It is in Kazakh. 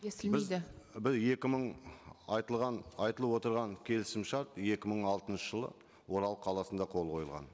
естілмейді екі мың айтылған айтылып отырған келісімшарт екі мың алтыншы жылы орал қаласында қол қойылған